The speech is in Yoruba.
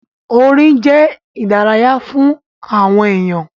Orin jẹ́ ìdárayá fún àwọn èyàn.